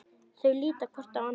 Þau líta hvort á annað.